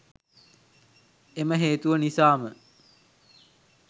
එම හේතුව නිසාම